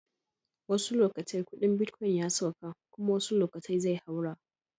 Wassu lokatai kudin bitcoin ya sauka kuma wasuu lokatai zai haura.